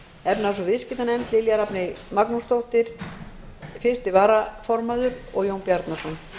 efnahags og viðskiptanefnd lilja rafney magnúsdóttir fyrsti varaformaður og jón bjarnason